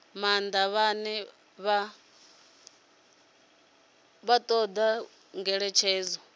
maanḓa vhane vha ṱoḓa ngeletshedzo